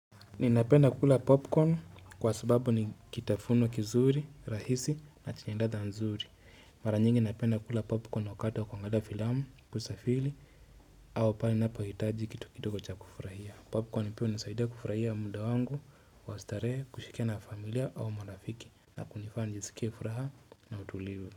Ninapenda kukula popcorn kwa sababu ni kitafuno kizuri, rahisi na chenye ladha nzuri. Mara nyingi napenda kula popcorn wakati wa kuangalia filamu, kusafiri au pahali ninapohitaji kitu kidogo cha kufurahia. Popcorn pia hunisaidia kufurahia muda wangu, kwa starehe, kushirikiana na familia au marafiki na kunifanya nisikie furaha na utulivu.